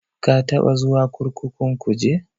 Ka taɓa zuwa kurkukun Kuje?